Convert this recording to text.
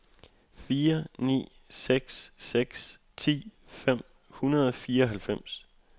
fire ni seks seks ti fem hundrede og fireoghalvfems